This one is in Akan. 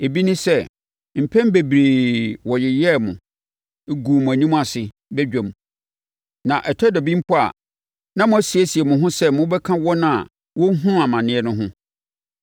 Ebi ne sɛ, mpɛn bebree wɔyeyɛɛ mo, guu mo anim ase badwam; na ɛtɔ da bi mpo a, na moasiesie mo ho sɛ mobɛka wɔn a wɔrehunu amaneɛ no ho.